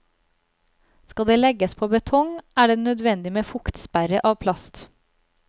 Skal det legges på betong, er det nødvendig med fuktsperre av plast.